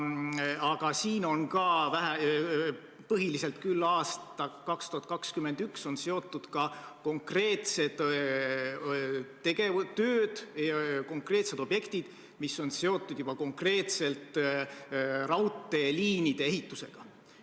Aga siin on ka, põhiliselt küll aastaks 2021, konkreetsed tööd, konkreetsed objektid, mis on seotud juba konkreetselt raudtee ehitusega.